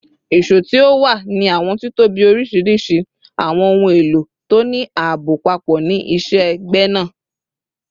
ìṣó ti o wa ni awọn titobi oriṣiriṣi, awọn ohun elo to ni aabo papọ ni iṣẹ-gbẹna